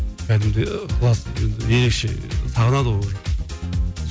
кәдімгідей ықылас енді ерекше сағынады ғой ол жақ